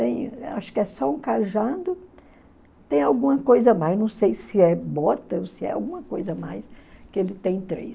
acho que é só um cajado, tem alguma coisa mais, não sei se é bota ou se é alguma coisa mais, que ele tem três.